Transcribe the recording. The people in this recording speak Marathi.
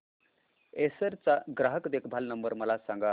एसर चा ग्राहक देखभाल नंबर मला सांगा